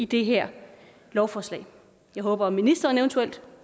det her lovforslag jeg håber at ministeren eventuelt